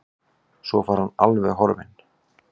Svo var hann alveg horfinn.